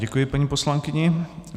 Děkuji paní poslankyni.